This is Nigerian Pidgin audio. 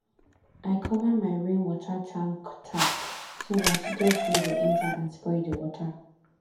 i cover my rainwater tank tap so dat dust no go enter and spoil the water